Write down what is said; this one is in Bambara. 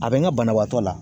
A bɛ n ga banabaatɔ la